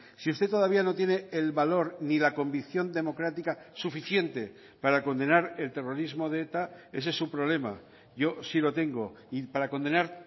si usted todavía no tiene el valor ni la convicción democrática suficiente para condenar el terrorismo de eta ese es su problema yo sí lo tengo y para condenar